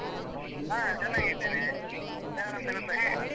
ಹ. ಚೆನ್ನಾಗಿದ್ದೇನೆ. ಯಾರಂತ ಗೊತ್ತಾಗ್ಲಿಲ್ಲ?